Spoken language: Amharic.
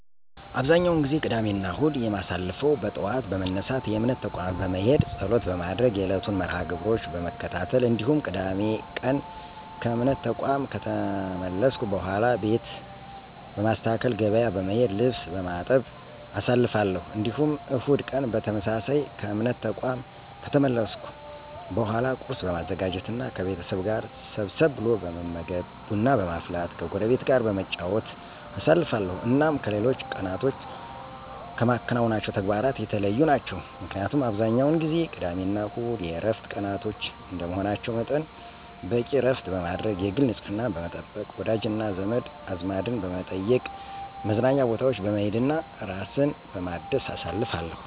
አብዛኛውን ጊዜ ቅዳሜና እሁድን የማሳልፈው በጠዋት በመነሳት የእምነት ተቋም በመሄድ ፀሎት በማድረግ የዕለቱን መርሐ -ግብሮች በመከታተል እንዲሁም ቅዳሜ ቀን ከእምነት ተቋም ከተመለስኩ በኃላ ቤት በማስተካከል፣ ገበያ በመሄድ፣ ልብስ በማጠብ አሳልፋለሁ። እንዲሁም እሁድ ቀን በተመሳሳይ ከእምነት ተቋም ከተመለስኩ በኃላ ቁርስ በማዘጋጀት እና ከቤተሰብ ጋር ሰብሰብ ብሎ በመመገብ፣ ቡና በማፍላት ከጎረቤት ጋር በመጨዋወት አሳልፋለሁ። እናም ከሌሎች ቀናቶች ከማከናውናቸው ተግባራት የተለዩ ናቸው። ምክንያቱም አብዛኛውን ጊዜ ቅዳሜና እሁድ የዕረፍት ቀናቶች እንደመሆናቸው መጠን በቂ ዕረፍት በማድረግ፣ የግል ንፅህናን በመጠበቅ፣ ወዳጅና ዘመድ አዝማድን በመጠየቅ፣ መዝናኛ ቦታዎች በመሄድ እና ራስን በማደስ አሳልፋለሁ።